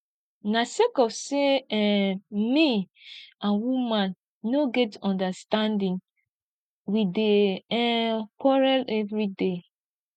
na sake of sey um me and woman no get understanding we dey um quarrel everyday